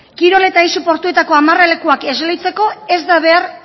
kirol eta aise portuetako amarralekuak esleitzeko ez da behar